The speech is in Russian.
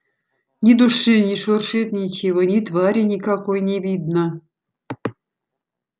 ни души не шуршит ничего ни твари никакой не видно